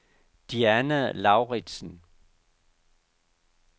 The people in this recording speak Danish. Diana Lauridsen